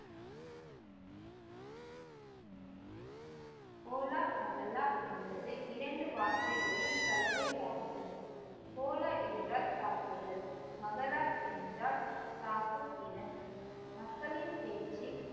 Cola Mohalla என்பது இரண்டு வார்த்தைகளின் கலவை ஆகும் கோலா என்றால் தாக்குதல் மஹாலா என்றால் காக்கும் இடம் மக்களின் பேச்சு